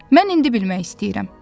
Mən indi bilmək istəyirəm.